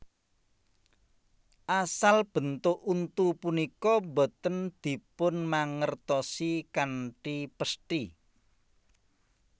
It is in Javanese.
Asal bentuk untu punika boten dipunmangertosi kanthi pesthi